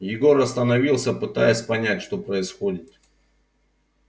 егор остановился пытаясь понять что происходит